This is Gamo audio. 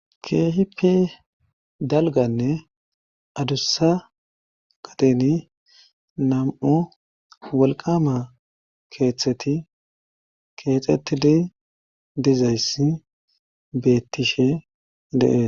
Keehipe dalganne adussa qateni nam'u wolqama keethteti keexetidi dizayssi beettishe dee.